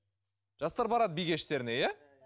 жастар барады би кештеріне иә